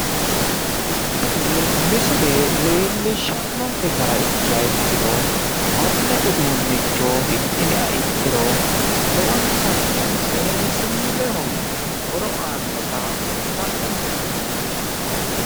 Tini misile leellishshannonke gara ikkiha ikkiro konne uduunnicho hidhiniha ikkiro lowontanni seensilleho horo aannota kultannonke misileeti.